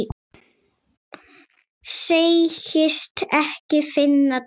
Segist ekki finna til.